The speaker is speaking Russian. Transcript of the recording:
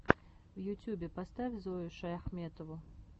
в ютюбе поставь зою шаяхметову